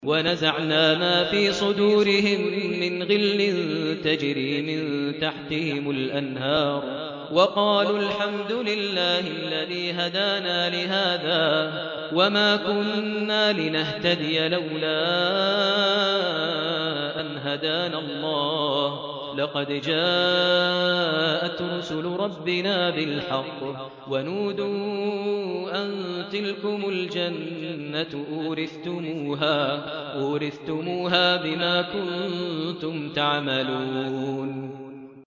وَنَزَعْنَا مَا فِي صُدُورِهِم مِّنْ غِلٍّ تَجْرِي مِن تَحْتِهِمُ الْأَنْهَارُ ۖ وَقَالُوا الْحَمْدُ لِلَّهِ الَّذِي هَدَانَا لِهَٰذَا وَمَا كُنَّا لِنَهْتَدِيَ لَوْلَا أَنْ هَدَانَا اللَّهُ ۖ لَقَدْ جَاءَتْ رُسُلُ رَبِّنَا بِالْحَقِّ ۖ وَنُودُوا أَن تِلْكُمُ الْجَنَّةُ أُورِثْتُمُوهَا بِمَا كُنتُمْ تَعْمَلُونَ